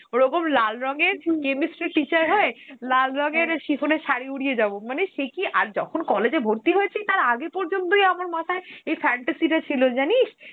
ওরকম লাল রঙের chemistry teacher হয়ে, লাল রঙের shiffon এর সারী উড়িয়ে যাবো, মানে সে কি আর যখন college এ ভর্তি হয়েছি, তার আগে পর্যন্তই আমার মাথায় এই fantasy টা ছিল জানিস